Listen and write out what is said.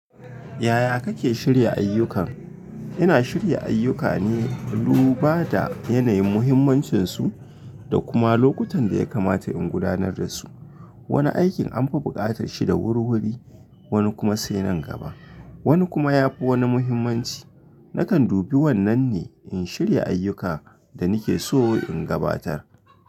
Yaya kake shirya ayyukan? Ina shirya ayyuka ne, dubada yanayin muhimmancinsu da kuma lokutan da ya kamata in gudanar da su. Wani aikin anfi buƙatar shi da wurwuri, wani kuma sai nan gaba, wani kuma yafi wani muhimmanci. Nakan dubi wannan ne in shirya ayyuka da nake so in gabatar.